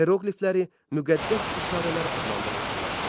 Heroqlifləri müqəddəs işarələr adlandırırdılar.